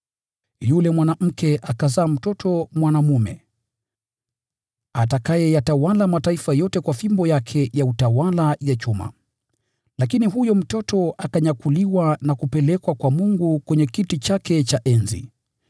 Yule mwanamke akazaa mtoto mwanaume, atakayeyatawala mataifa yote kwa fimbo yake ya utawala ya chuma. Lakini huyo mtoto akanyakuliwa na kupelekwa kwa Mungu kwenye kiti chake cha enzi.